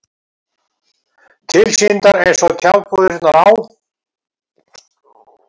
Tilsýndar eins og tjaldbúðirnar á